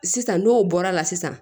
Sisan n'o bɔra la sisan